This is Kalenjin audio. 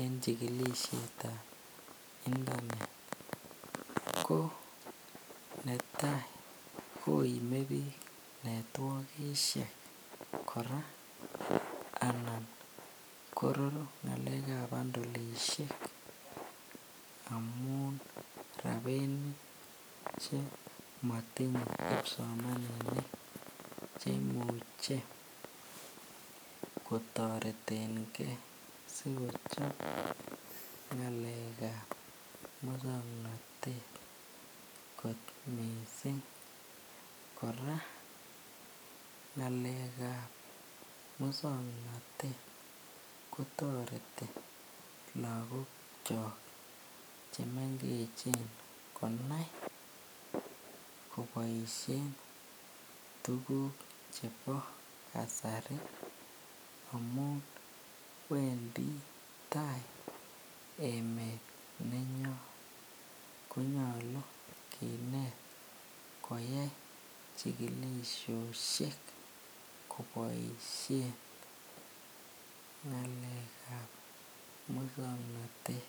en chikilishetab internet ko netai koimebik networkishek kora anan kororu ngalekab bandolishek amun rabinik chemotinye kipsomaninik chemuche kotoretenge sikochob ngalekab muswoknotet kot mising, kora ngalekab muswoknotet kotoreti lokokyok chemengechen konai koboishen tukuk chebo kasari amun wendi taai emet nenyon konyolu kinet koyai chikilisioshek koboishen ngalekab muswoknotet.